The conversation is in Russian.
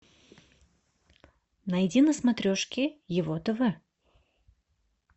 найди на смотрешке его тв